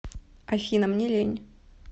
афина мне лень